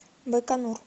байконур